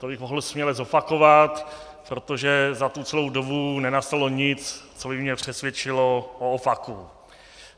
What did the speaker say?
To bych mohl směle zopakovat, protože za celou tu dobu nenastalo nic, co by mě přesvědčilo o opaku.